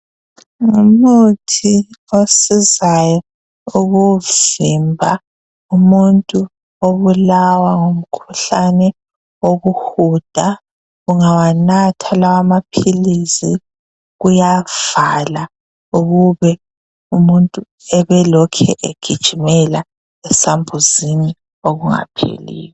Ngumuthi osizayo ukuvimba umuntu obulawa ngumkhuhlane wokuhuda ungawanatha lamaphilisi kuyavala ukube umuntu ebelokhe egijimela esambuzini okungapheliyo.